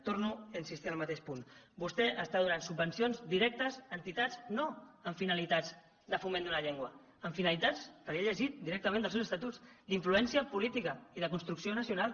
torno a insistir en el mateix punt vostè està donant subvencions directes a entitats no amb finalitats de foment d’una llengua amb finalitats que ho he llegit directament dels seus estatuts d’influència política i de construcció nacional